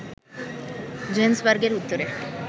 জোহানেসবার্গের উত্তরে